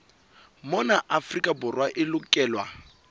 mona afrika borwa e lokelwa